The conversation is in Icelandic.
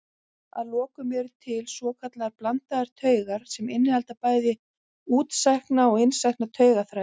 Að lokum eru til svokallaðar blandaðar taugar sem innihalda bæði útsækna og innsækna taugaþræði.